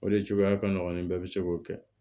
O de cogoya ka nɔgɔn ni bɛɛ bɛ se k'o kɛ